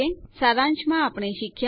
સારાંશમાં આપણે શીખ્યા